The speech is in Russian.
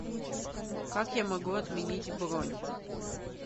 как я могу отменить бронь